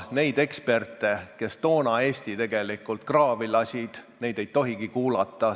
Neid eksperte, kes toona Eesti kraavi lasid, ei tohigi kuulata.